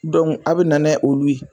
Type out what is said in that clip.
a bi nanɛ olu ye.